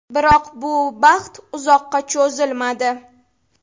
Biroq bu baxt uzoqqa cho‘zilmadi.